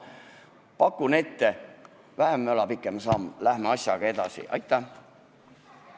Pakun välja: vähem möla, pikem samm, lähme asjaga edasi!